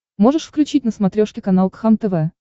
можешь включить на смотрешке канал кхлм тв